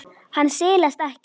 Hann silast ekkert.